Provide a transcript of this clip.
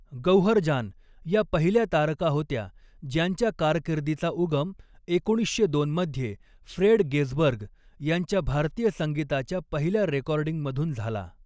गौहर जान या पहिल्या तारका होत्या, ज्यांच्या कारकिर्दीचा उगम एकोणीसशे दोन मध्ये फ्रेड गेझबर्ग यांच्या भारतीय संगीताच्या पहिल्या रेकॉर्डिंगमधून झाला.